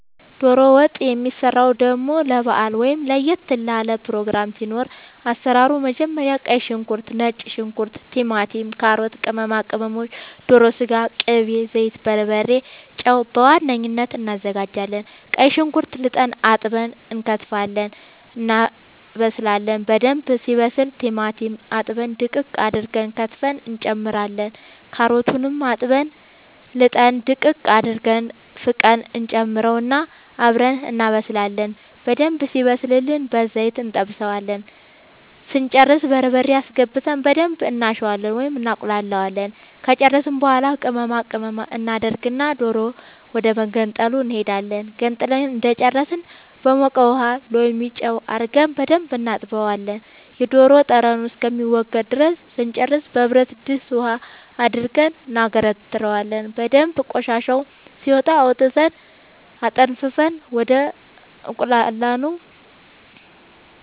ዶሮ ወጥ የሚሰራው ደሞ ለባአል ወይም ለየት ላለ ፕሮግራም ሲኖር አሰራሩ መጀመሪያ ቀይ ሽንኩርት ነጭ ሽንኩርት ቲማቲም ካሮት ቅመማ ቅመሞች ዶሮ ስጋ ቅቤ ዘይት በርበሬ ጨው በዋነኝነት አናዘጋጃለን ቀይ ሽንኩርት ልጠን አጥበን እንከትፋለን እናበስላለን በደንብ ሲበስል ቲማቲም አጥበን ድቅቅ አርገን ከትፈን እንጨምራለን ካሮቱንም አጥበን ልጠን ድቅቅ አርገን ፍቀን እንጨምረውና አብረን እናበስላለን በደንብ ሲበስልልን በዘይት እንጠብሰዋለን ስንጨርስ በርበሬ አስገብተን በደንብ እናሸዋለን ወይም እናቁላለዋለን ከጨረስን በኃላ ቅመማ ቅመም እናደርግና ዶሮ ወደመገንጠሉ እንሄዳለን ገንጥለን እንደጨረስን በሞቀ ውሃ ሎሚ ጨው አርገን በደንብ እናጥበዋለን የዶሮ ጠረኑ እስከሚወገድ ድረስ ስንጨርስ በብረድስት ውሃ አድርገን እናገነትረዋለን በደንብ ቆሻሻው ሲወጣ አውጥተን አጠንፍፈን ወደ አቁላላነው